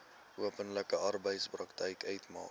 onbillike arbeidspraktyk uitmaak